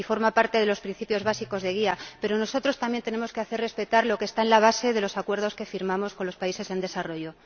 y forma parte de los principios básicos de guía, pero nosotros también tenemos que hacer respetar lo que está en la base de los acuerdos que firmamos con los países en desarrollo.